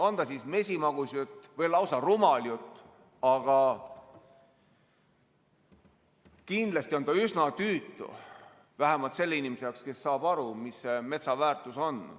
On ta mesimagus jutt või lausa rumal jutt, aga kindlasti on ta üsna tüütu vähemalt selle inimese jaoks, kes saab aru, mis metsa väärtus on.